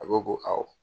A ko ko awɔ